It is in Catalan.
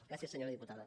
gràcies senyora diputada